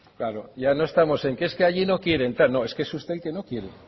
claro ya no estamos en que es que allí no quieren claro es que es usted el que no quiere